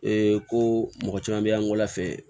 Ee ko mɔgɔ caman be yan n kɔla fɛ